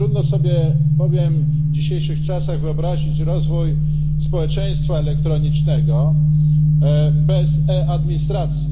Trudno sobie bowiem w dzisiejszych czasach wyobrazić rozwój społeczeństwa elektronicznego bez e administracji.